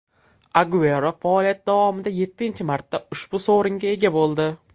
Aguero faoliyati davomida yettinchi marta ushbu sovringa ega bo‘ldi.